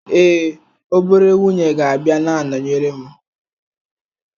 Ee, obere nwunye ga-abịa na-anọnyere m.